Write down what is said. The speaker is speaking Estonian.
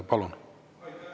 Palun!